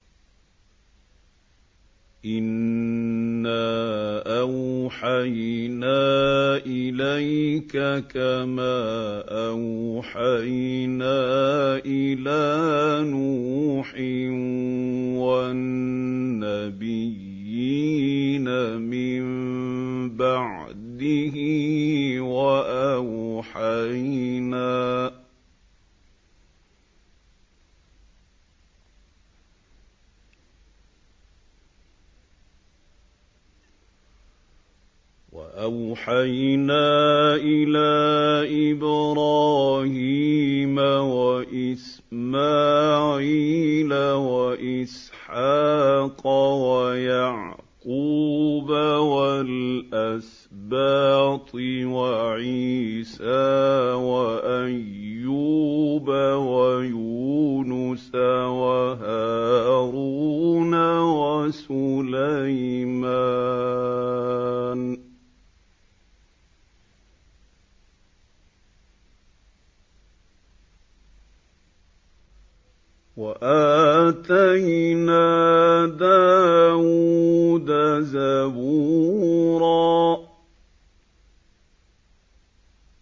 ۞ إِنَّا أَوْحَيْنَا إِلَيْكَ كَمَا أَوْحَيْنَا إِلَىٰ نُوحٍ وَالنَّبِيِّينَ مِن بَعْدِهِ ۚ وَأَوْحَيْنَا إِلَىٰ إِبْرَاهِيمَ وَإِسْمَاعِيلَ وَإِسْحَاقَ وَيَعْقُوبَ وَالْأَسْبَاطِ وَعِيسَىٰ وَأَيُّوبَ وَيُونُسَ وَهَارُونَ وَسُلَيْمَانَ ۚ وَآتَيْنَا دَاوُودَ زَبُورًا